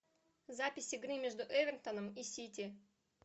запись игры между эвертоном и сити